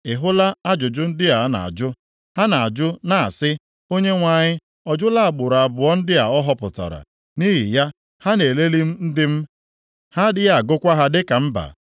“Ị hụla ajụjụ ndị a na-ajụ? Ha na-ajụ na-asị, ‘ Onyenwe anyị ọ jụla agbụrụ abụọ ndị a ọ họpụtara?’ Nʼihi ya, ha na-elelị ndị m, ha adịghị agụkwa ha dịka mba.